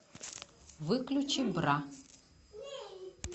выключи бра